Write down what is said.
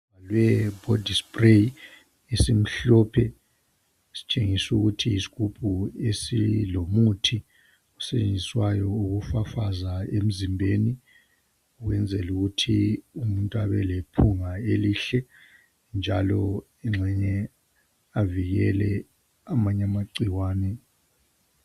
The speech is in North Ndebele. le yi body spray esimhlophe esitshengisa ukuthi yisigubhu esilomuthi esisetshenziswayo ukufafaza emzimbeni ukuyenzela ukuthi umuntu abe lephunga elihle njalo engxenye avikele amanye amagcikwane